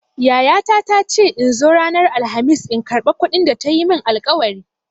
Yayata ta ce in zo ranar Alkhamis in karɓa kuɗin da ta yi min alƙawari.